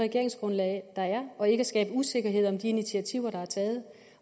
regeringsgrundlag der er og ikke at skabe usikkerhed om de initiativer der er taget